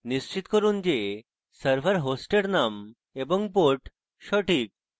নিশ্চিত করুন যে server host name এবং port সঠিক